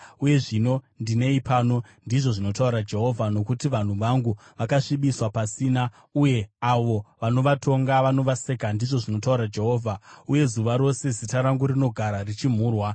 “Uye zvino ndinei pano?” ndizvo zvinotaura Jehovha. “Nokuti vanhu vangu vakabviswa pasina, uye avo vanovatonga vanovaseka,” ndizvo zvinotaura Jehovha. “Uye zuva rose zita rangu rinogara richimhurwa.